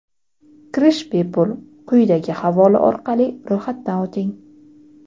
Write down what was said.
Kirish bepul, quyidagi havola orqali ro‘yxatdan o‘ting:.